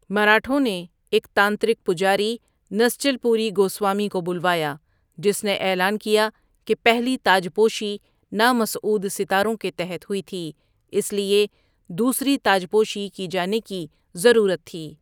مراٹھوں نے ایک تانترک پجاری نسچل پوری گوسوامی کو بلوایا، جس نے اعلان کیا کہ پہلی تاجپوشی نامسعود ستاروں کے تحت ہوئی تھی اس لیے دوسری تاجپوشی کی جانے کی ضرورت تھی۔